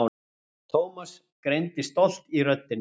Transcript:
Thomas greindi stolt í röddinni.